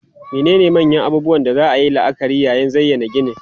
Menene manyan abubuwan da za a yi la'akari yayin zayyana ginin?